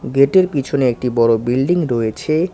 গেটের পিছনে একটি বড়ো বিল্ডিং রয়েছে।